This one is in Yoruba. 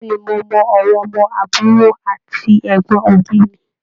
Bẹ̀ẹ́ni, mo mọ àwọn ọmọ àbúrò àti ẹgbọn òbí mí.